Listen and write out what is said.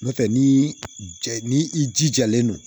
N'o tɛ ni ja ni i jijalen don